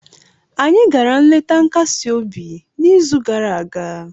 Anyị gara nleta nkasi obi n'izu gara aga